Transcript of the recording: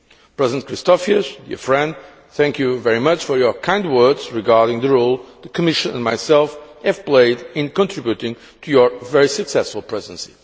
President Christofias, dear friend, thank you very much for your kind words regarding the role the Commission and myself have played in contributing to your very successful Presidency.